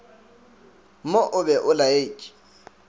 mo o be o laetše